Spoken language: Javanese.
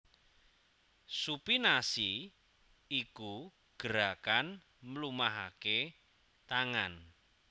Supinasi iku gerakan mlumahaké tangan